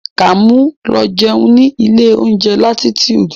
Kàmú lọ jẹun ní ilé oúnjẹ Latitude.